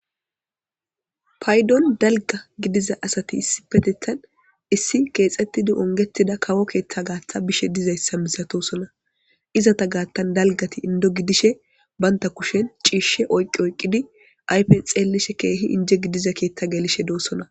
Paydon dalgga gidiza asati issipetettan issi keexettidi ungetida kawo keeththa gaaththa bishe dizayssa misatosona izata gaattan dalggati indo gidishe banta kushen ciishshe oyqqi oyqqidi aype xeellishe keehi inje gidiza keeththa gelishe doosona.